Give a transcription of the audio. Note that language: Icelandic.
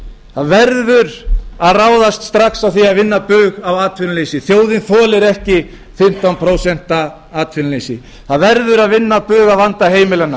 það verður að ráðast strax í það að vinna bug á atvinnuleysinu þjóðin þolir ekki fimmtán prósent atvinnuleysi það verður að vinna bug á vanda heimilanna